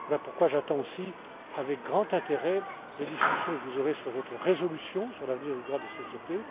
Voilà pourquoi j'attends aussi avec grand intérêt les discussions que vous aurez sur votre résolution sur l'avenir du droit des sociétés.